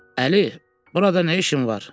Əli, burada nə işin var?